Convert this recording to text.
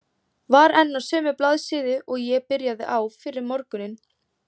Var enn á sömu blaðsíðu og ég byrjaði á fyrr um morguninn.